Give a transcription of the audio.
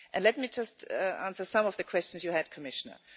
Let me just answer some of the questions you had, Commissioner.